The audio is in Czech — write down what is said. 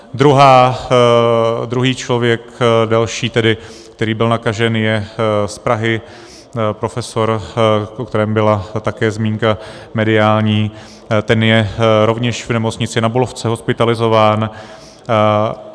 Druhý člověk, další tedy, který byl nakažen, je z Prahy, profesor, o kterém byla také zmínka mediální, ten je rovněž v Nemocnici Na Bulovce hospitalizován.